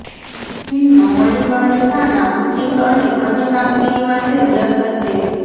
film મણિકર્ણિકાના shooting અને અન્ય કામગીરીમાં તે વ્યસ્ત છે